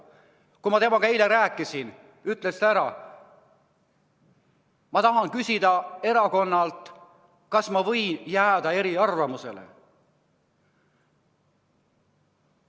Kui ma temaga eile rääkisin, ütles ta: ma tahan küsida erakonnalt, kas ma võin jääda eriarvamusele.